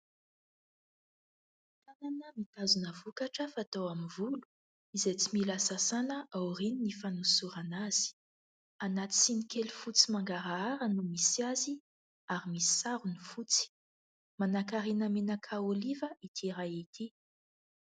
Tànana mitazona vokatra fanao amin'ny volo, izay tsy mila sasàna aorian'ny fanosorana azy. Anaty siny kely fotsy mangarahara no misy azy, ary misy sarony fotsy. Manankarena menaka oliva ity raha ity.